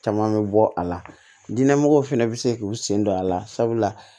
Caman bɛ bɔ a la diɲɛmɔgɔw fana bɛ se k'u sen don a la sabula